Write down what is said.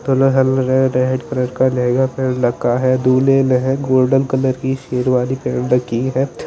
दुल्हन नेह red colour का लहंगा पहन रखा है दुल्हे नेह गोल्डन कलर की शेरवानी पहन रखी है।